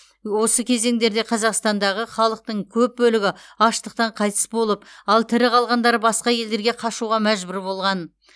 осы кезеңдерде қазақстандағы халықтың көп бөлігі аштықтан қайтыс болып ал тірі қалғандары басқа елдерге қашуға мәжбүр болған